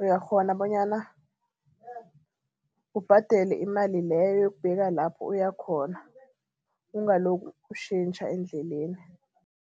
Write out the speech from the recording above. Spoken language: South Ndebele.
uyakghona bonyana ubhadele imali leyo yokubeka lapho uyakhona. Ungaloku utjhentjha endleleni.